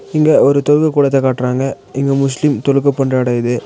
இங்க ஒரு தொழுக கூடத்த காட்றாங்க இங்க முஸ்லீம் தொழுக பண்ற எடோ இது.